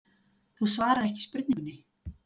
Þú svarar ekki spurningunni.